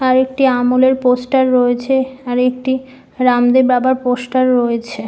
আর একটি আমুলের পোস্টার রয়েছে আর একটি রামদেব বাবার পোস্টার রয়েছে।